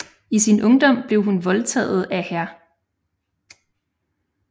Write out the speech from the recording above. I sin ungdom blev hun voldtaget af hr